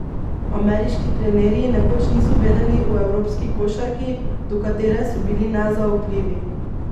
Ameriški trenerji nekoč niso vedeli o evropski košarki, do katere so bili nezaupljivi.